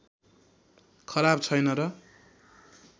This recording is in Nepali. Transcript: खराब छैन र